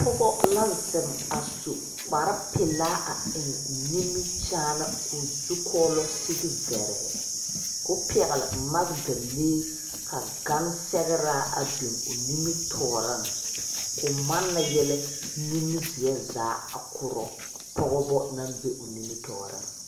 Pɔgɔ la zeng a su kpare pelaa a en nimikyaan koɔ zɔkuulo sigi verɛɛ kuo pegli magdalee ka gangsegra a bin ɔ nimitooring koo manna yele nimizeɛ zaa a kuro pɔgba nang be ɔ nimitooring.